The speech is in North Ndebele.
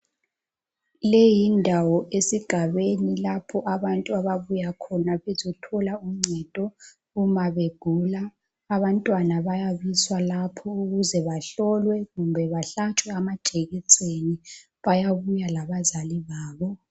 Le yindawo esigabeni lapho abantu ababuya khona bezothola uncedo uma begula abantwana bayabiswa lapho ukuze bahlolwe kumbe behlatshwe amajekiseni bayabuya labazali